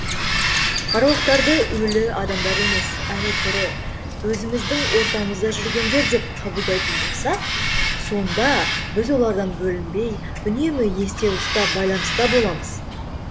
аруақтарды өлі адамдар емес әлі тірі өзіміздің ортамызда жүргендер деп қабылдайтын болсақ сонда біз олардан бөлінбей үнемі есте ұстап байланыста боламыз